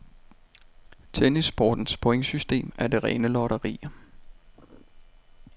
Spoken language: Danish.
Tennissportens pointsystem er det rene lotteri.